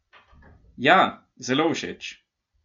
Ja, zelo všeč!